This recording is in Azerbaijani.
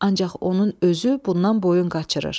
Ancaq onun özü bundan boyun qaçırır.